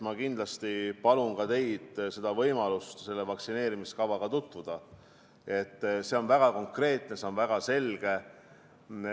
Kindlasti palun ka teil selle kavaga tutvuda, see on väga konkreetne ja väga selge.